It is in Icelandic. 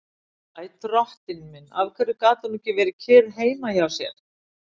Æ, drottinn minn, af hverju gat hún ekki verið kyrr heima hjá sér?